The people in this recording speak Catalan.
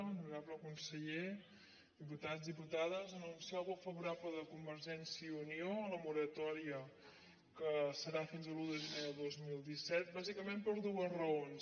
honorable conseller diputats dipu·tades anunciar el vot favorable de convergència i unió a la moratòria que serà fins a l’un de gener de dos mil disset bà·sicament per dues raons